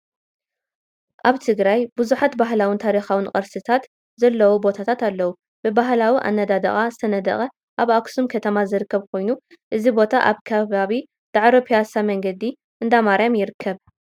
ኣብ ትግራይ ብዙሓት ባህላውን ታሪካውን ቅርስታት ዘለዎም ቦታታት ኣለው፡፡ ብባህላዊ ኣነዳድቃ ዝተነደቐ ኣብ ኣክሱም ከተማ ዝርከብ ኮይኑ እዚ ቦታ ኣብ ከባቢ ዳዕሮ ቢያሳ መንገዲ እንዳማርያም ይርከብ፡፡